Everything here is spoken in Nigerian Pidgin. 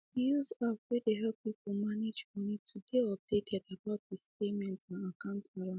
he use app way dey help people manage money to dey updated about his payment and akant balance